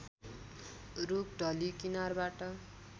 रूख ढली किनारबाट